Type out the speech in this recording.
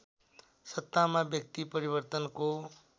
सत्तामा व्यक्ति परिवर्तनको